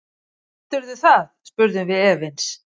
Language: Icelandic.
Heldurðu það, spurðum við efins.